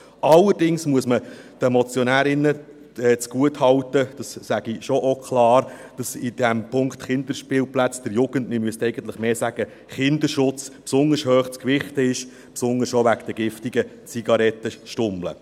Allerdings muss man den Motionärinnen zugutehalten – das sage ich schon auch klar –, dass beim Punkt der Kinderspielplätze der Jugend- bzw. Kinderschutz besonders hoch zu gewichten ist, besonders auch wegen den giftigen Zigarettenstummeln.